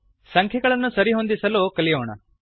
ಸಂಖ್ಯೆಗಳನ್ನು ಸರಿಹೊಂದಿಸಲು ಕಲಿಯೋಣ